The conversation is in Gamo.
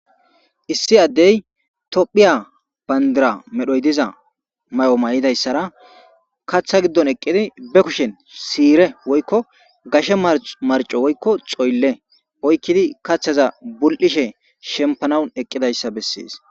issi addey tophiya bandira medhoy diza may7o may7idayssara kaththa giddon eqqidi be kushen siire woykko gashe marco woykko coylle oykkidi kathaza bul7ishe shempanawun eqqidayssa bessees